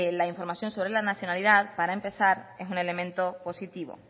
la información sobre la nacionalidad para empezar es un elemento positivo